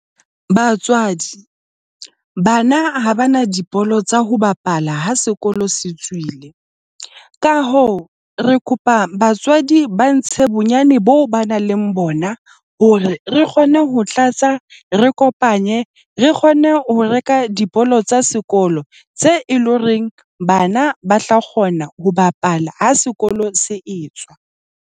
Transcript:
Batswadi, bana ha ba na dibolo tsa ho bapala ha sekolo se tswile. Ka hoo, re kopa batswadi ba ntse bonyane boo ba nang leng bona. Hore re kgone ho tlatsa, re kopanye, re kgone ho reka diphoofolo tsa sekolo tse loreng bana ba tla kgona ho bapala ha sekolo se etswa.